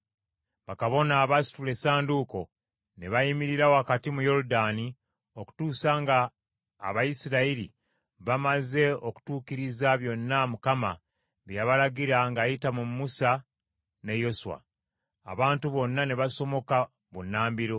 Bakabona abaasitula Essanduuko ne bayimirira wakati mu Yoludaani okutuusa nga Abayisirayiri bamaze okutuukiriza byonna Mukama bye yabalagira ng’ayita mu Musa ne Yoswa. Abantu bonna ne basomoka bunnambiro.